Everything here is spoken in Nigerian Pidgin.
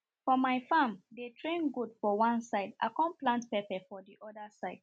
for my farm dey train goat for one side i con plant pepper for the oda side